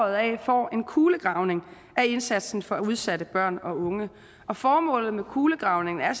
af får en kulegravning af indsatsen for udsatte børn og unge og formålet med kulegravningen er